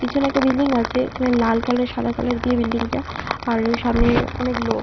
পিছনে একটা বিল্ডিং আছে এখানে লাল কালার সাদা কালার দিয়ে বিল্ডিংটা আর সামনে অনেক লোক।